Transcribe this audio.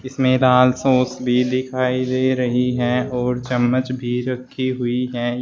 इसमें लाल सॉस भी दिखाई दे रही है और चम्मच भी रखी हुई है।